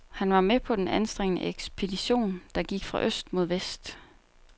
Han var med på den anstrengende ekspedition, der gik fra øst mod vest.